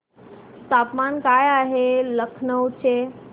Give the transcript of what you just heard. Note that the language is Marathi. तापमान काय आहे लखनौ चे